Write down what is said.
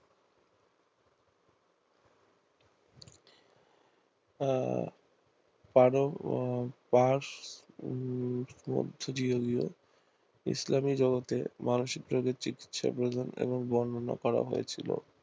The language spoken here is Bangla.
আহ উম মধ্য দিয়ে গিয়ে ইসলামিক জগতে মানসিক রোগের চিকিৎসা প্রয়োজন এবং বর্ণনা করা হয়েছিল